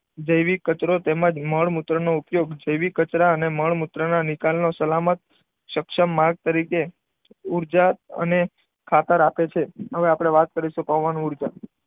જૈવિક કચરો તેમજ મળમૂત્રનો ઉપયોગ જૈવિક કચરા અને મળમૂત્રના નિકાલનો સલામત સક્ષમ માર્ગ તરીકે ઉર્જા અને ખાતર આપે છે. હવે આપણે વાત કરીશું પવન ઊર્જા.